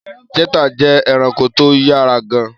Chetta jẹ́ ẹranko tó yára gan-an.